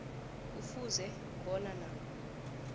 kufuze bona nakho